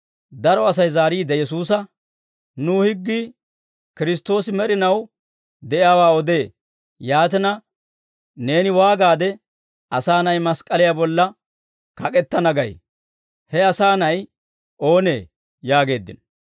Daro Asay zaariide Yesuusa, «Nu higgii Kiristtoosi med'inaw de'iyaawaa odee. Yaatina, neeni waagaade, ‹Asaa Na'ay mask'k'aliyaa bolla kak'k'etana› gay? He Asaa Na'ay oonee?» yaageeddino.